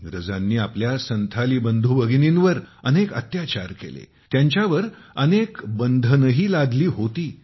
इंग्रजांनी आपल्या संथाली बंधू भगिनींवर अनेक अत्याचार केले आणि त्यांच्यावर अनेक बंधनेही लादली होती